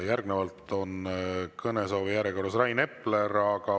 Järgnevalt on kõnesoovijärjekorras Rain Epler.